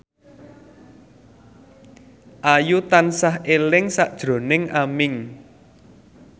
Ayu tansah eling sakjroning Aming